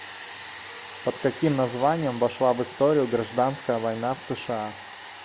под каким названием вошла в историю гражданская война в сша